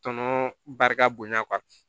Tɔnɔ barika bonya